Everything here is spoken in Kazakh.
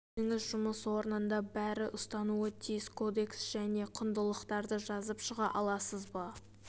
өзіңіз жұмыс орнында бәрі ұстануы тиіс кодекс және құндылықтарды жазып шыға аласыз ба